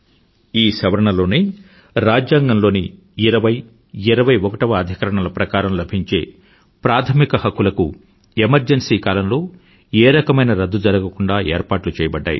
ఈ సవరణ లోనే రాజ్యాంగంలోని 20 21వ అధికరణ ప్రకారం లభించే ప్రాధమిక హక్కులకు ఎమర్జెన్సీ కాలంలో ఏ రకమైన రద్దు జరగకుండా ఏర్పాట్లు చేయబడ్డాయి